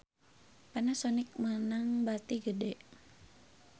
Panasonic meunang bati gede